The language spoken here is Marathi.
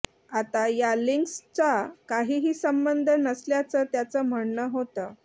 आता या लिंक्सचा काहीही संबध नसल्याचं त्यांचं म्हणणं होतं